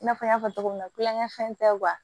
I n'a fɔ n y'a fɔ cogo min na tulonkɛ fɛn tɛ